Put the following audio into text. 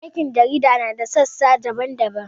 Aikin jarida na da sassa daban-daban.